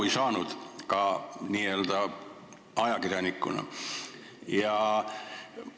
Ega ma nüüd küll ka n-ö ajakirjanikuna asjast aru ei saanud.